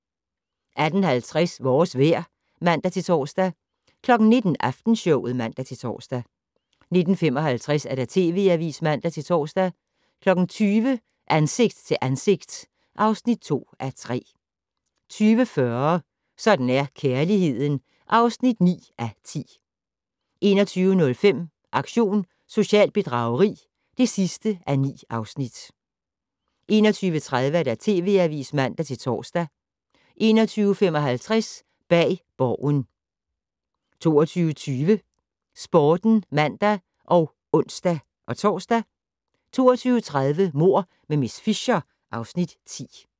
18:50: Vores vejr (man-tor) 19:00: Aftenshowet (man-tor) 19:55: TV Avisen (man-tor) 20:00: Ansigt til ansigt (2:3) 20:40: Sådan er kærligheden (9:10) 21:05: Aktion socialt bedrageri (9:9) 21:30: TV Avisen (man-tor) 21:55: Bag Borgen 22:20: Sporten (man og ons-tor) 22:30: Mord med miss Fisher (Afs. 10)